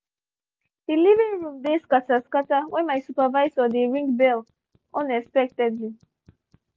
the living room dey scatter scatter when my supervisor dey ring bell unexpectedly